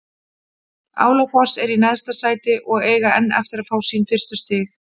Álafoss er í neðsta sæti og eiga enn eftir að fá sín fyrstu stig.